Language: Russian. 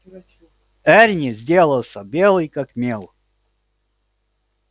эрни сделался белый как мел